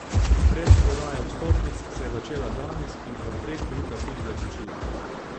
Predprodaja vstopnic se je začela danes in po treh minutah tudi zaključila.